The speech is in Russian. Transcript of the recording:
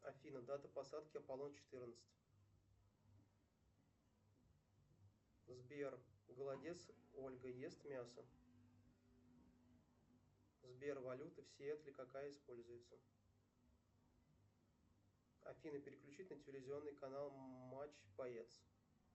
афина дата посадки апполон четырнадцать сбер голодец ольга ест мясо сбер валюта в сиэтле какая используется афина переключить на телевизионный канал матч боец